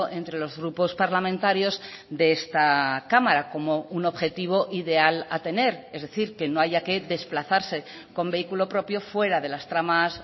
entre los grupos parlamentarios de esta cámara como un objetivo ideal a tener es decir que no haya que desplazarse con vehículo propio fuera de las tramas